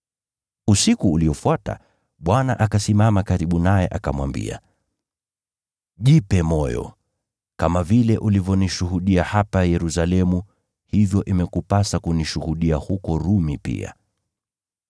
Usiku uliofuata, Bwana akasimama karibu naye akamwambia, “Jipe moyo! Kama vile ulivyonishuhudia hapa Yerusalemu, hivyo imekupasa kunishuhudia huko Rumi pia.”